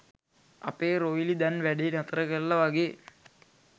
අපේ රොයිලි දැන් වැඞෙ නතර කරල වගේ